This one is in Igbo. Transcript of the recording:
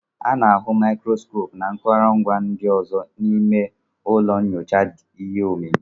A na-ahụ màikròskopú na akụrụngwa ndị ọzọ n'ime ụlọ nyocha ihe omimi